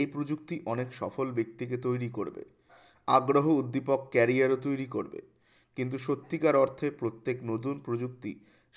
এই প্রযুক্তি অনেক সফল ব্যক্তিকে তৈরি করবে আগ্রহী উদ্দীপক career ও তৈরী করবে কিন্তু সত্যিকার অর্থে প্রত্যেক নতুন প্রযুক্তি